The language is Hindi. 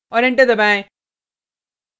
और एंटर दबाएँ